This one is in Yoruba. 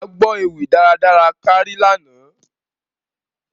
À gbọ ewi daradara kan lana.